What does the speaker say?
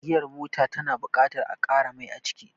Giyar mota ta na buƙatar a ƙara mai aciki